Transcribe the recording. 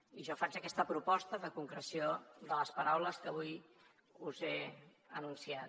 i jo faig aquesta proposta de concreció de les paraules que avui us he anunciat